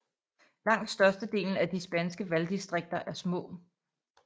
Langt størstedelen af de spanske valgdistriker er små